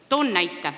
Toon näite.